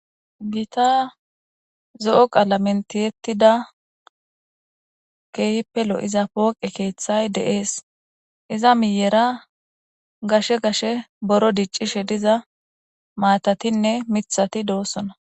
Gita zo7o qaala mentiyettida keehppelo iza pooqe keeththay deees iza miyera gashe gashe boro diccishe diza maatatinne mithati doossona.